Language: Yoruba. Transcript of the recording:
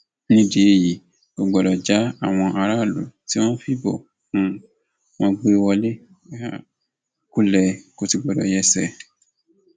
nídìí èyí kò gbọdọ já àwọn aráàlú tí wọn fìbò um wọn gbé e wọlé um kulẹ kó sì gbọdọ yẹsẹ